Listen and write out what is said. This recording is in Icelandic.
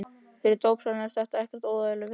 Fyrir dópsalann er þetta ekkert óeðlileg vinna.